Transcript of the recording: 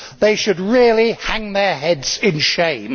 They should really hang their heads in shame.